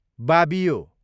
बाबियो